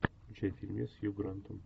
включай фильмец с хью грантом